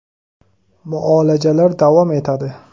Muolajalar davom etadi.